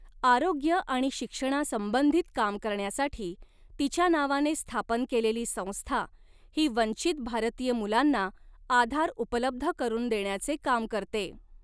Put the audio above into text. आरोग्य आणि शिक्षणासंबंधित काम करण्यासाठी तिच्या नावाने स्थापन केलेली संस्था ही वंचित भारतीय मुलांना आधार उपलब्ध करून देण्याचे काम करते.